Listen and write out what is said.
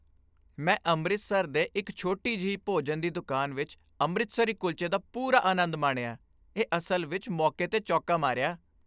ਮੈਂ ਅੰਮ੍ਰਿਤਸਰ ਦੇ ਇੱਕ ਛੋਟੀ ਜਿਹੀ ਭੋਜਨ ਦੀ ਦੁਕਾਨ ਵਿੱਚ ਅੰਮ੍ਰਿਤਸਰੀ ਕੁਲਚੇ ਦਾ ਪੂਰਾ ਆਨੰਦ ਮਾਣਿਆ। ਇਹ ਅਸਲ ਵਿੱਚ ਮੌਕੇ 'ਤੇ ਚੌਕਾ ਮਾਰਿਆ